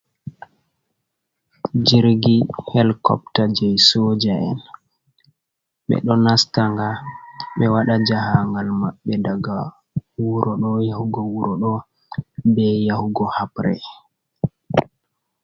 Jirgi helikopta je soja'en, ɓe ɗo nastanga ɓe waɗa jahangal maɓɓe daga wuro do yahugo wuro ɗo ɓe yahugo habre.